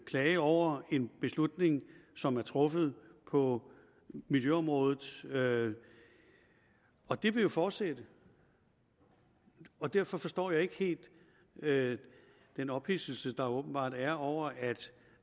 klage over en beslutning som er truffet på miljøområdet og det vil jo fortsætte og derfor forstår jeg ikke helt den ophidselse der åbenbart er over at